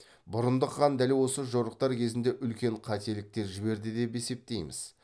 бұрындық хан дәл осы жорықтар кезінде үлкен қателіктер жіберді деп есептейміз